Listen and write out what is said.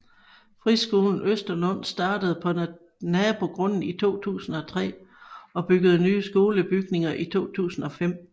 Friskolen Østerlund startede på nabogrunden i 2003 og byggede nye skolebygninger i 2005